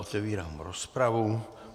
Otevírám rozpravu.